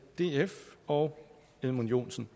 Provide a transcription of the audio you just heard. df og edmund joensen